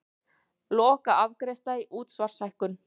Lokaafgreiðsla á útsvarshækkun